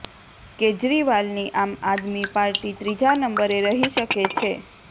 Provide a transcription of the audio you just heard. કેજરીવાલની આમ આદમી પાર્ટી ત્રીજા નંબરે રહી શકે છે